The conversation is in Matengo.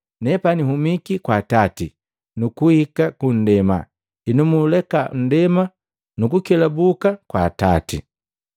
nepani nhumiki kwa Atati, nukuhika kundema, henu nuuleka nndema nukukelabuki kwa Atati.”